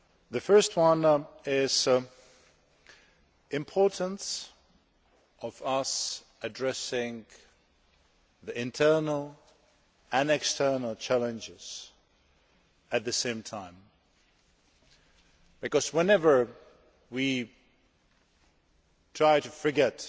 The first point is the importance of our addressing the internal and the external challenges at the same time because, whenever we try to forget